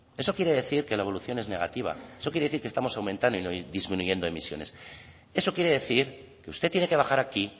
eso quiere decir que la evolución es negativa eso quiere decir que estamos aumentando y no disminuyendo emisiones eso quiere decir que usted tiene que bajar aquí